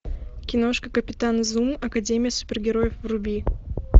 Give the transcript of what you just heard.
киношка капитан зум академия супергероев вруби